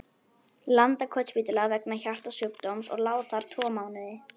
Landakotsspítala vegna hjartasjúkdóms og lá þar tvo mánuði.